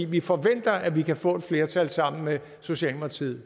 vi forventer at vi kan få et flertal sammen med socialdemokratiet